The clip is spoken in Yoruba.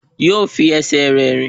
Yóò fi ẹsẹ̀ rẹ̀ rìn